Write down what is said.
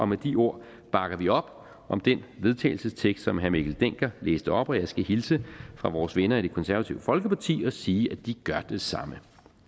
med de ord bakker vi op om den vedtagelsestekst som herre mikkel dencker læste op og jeg skal hilse fra vores venner i det konservative folkeparti og sige at de gør det samme